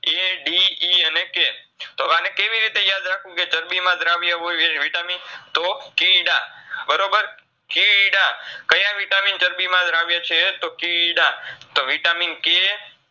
એ DE અને K, તો અને કેવીરીતે યાદ રાખવું કે ચરબીમાં દ્રાવ્ય હોય વે Vitamin તો કીડા બરોબર, કીડા કયા Vitamin ચરબીમાં દ્રાવ્ય છે તો કીડા તો VitaminK